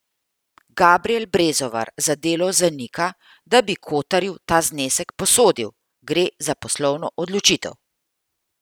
Gabrijel Brezovar za Delo zanika, da bi Kotarju ta znesek posodil: 'Gre za poslovno odločitev.